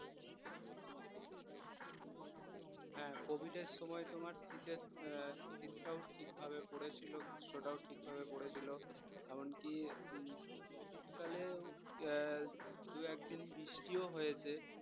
হ্যাঁ কোভিডের সময় তোমার শীতের আহ শীতটাও ঠিকভাবে পড়েছিলো গ্রীষ্মটাও ঠিকভাবে পড়েছিলো এমনকি উম শীতকালে আহ দুই একদিন বৃষ্টিও হয়েছে